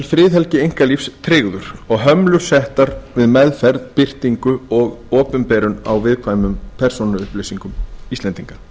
friðhelgi einkalífs tryggður og hömlur settar við meðferð birtingu og opinberun á viðkvæmum persónuupplýsingum íslenndinga